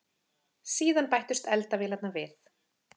Síðan bættust eldavélarnar við.